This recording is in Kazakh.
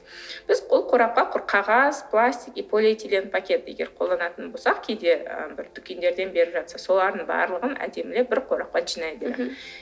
біз ол қорапқа құр қағаз пластик и полиэтилен пакет егер қолданатын болсақ кейде ы бір дүкендерден беріп жатса солардың барлығын әдемілеп бір қорапқа жинай беру керек мхм